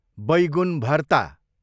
बैगुन भरता